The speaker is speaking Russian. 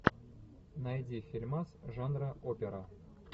найди фильмас жанра опера